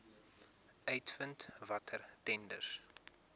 uitvind watter tenders